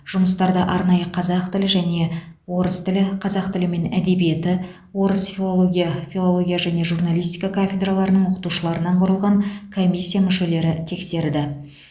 жұмыстарды арнайы қазақ тілі және орыс тілі қазақ тілі мен әдебиеті орыс филология филология және журналистика кафедраларының оқытушыларынан құрылған комиссия мүшелері тексерді